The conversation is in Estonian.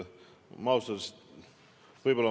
Ma ei taha, et see õhku jääks.